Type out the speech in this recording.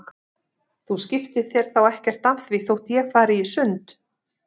Þú skiptir þér þá ekkert af því þótt ég fari í sund?